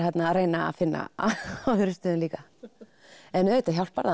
að reyna að finna það á öðrum stöðum líka en auðvitað hjálpar það